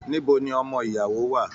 Níbo ní ọmọ ìyàwó wà?